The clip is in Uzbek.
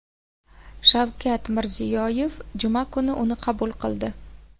Shavkat Mirziyoyev juma kuni uni qabul qildi .